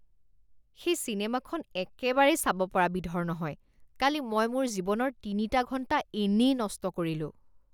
সেই চিনেমাখন একেবাৰেই চাব পৰা বিধৰ নহয়। কালি মই মোৰ জীৱনৰ তিনিটা ঘণ্টা এনেই নষ্ট কৰিলোঁ